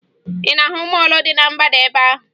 Ị na-ahụ mọọlụ dị na mgbada ebe ahụ?